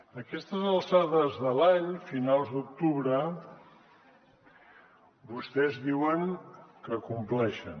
a aquestes alçades de l’any finals d’octubre vostès diuen que compleixen